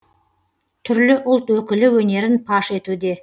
түрлі ұлт өкілі өнерін паш етуде